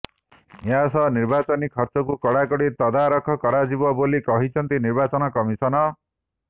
ଏହା ସହ ନିର୍ବାଚନୀ ଖର୍ଚ୍ଚକୁ କଡ଼ାକଡ଼ି ତଦାରଖ କରାଯିବ ବୋଲି କହିଛନ୍ତି ନିର୍ବାଚନ କମିଶନ